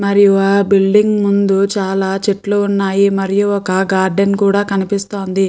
మరియు ఆ బిల్డింగ్ ముందు చాలా చెట్లు ఉన్నాయి. మరియు ఒక గార్డెన్ కూడా కనిపిస్తుంది.